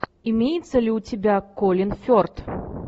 имеется ли у тебя колин ферт